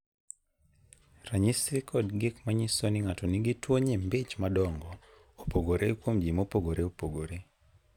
Ranyisi koda gik manyiso ni ng'ato nigi tuwo nyimbi ich madongo, opogore kuom ji mopogore opogore.